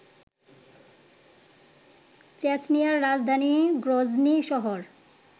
চেচনিয়ার রাজধানী গ্রজনি শহর